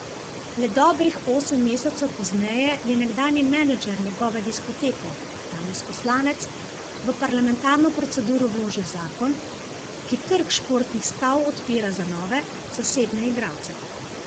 Le dobrih osem mesecev pozneje je nekdanji menedžer njegove diskoteke, danes poslanec, v parlamentarno proceduro vložil zakon, ki trg športnih stav odpira za nove, zasebne igralce.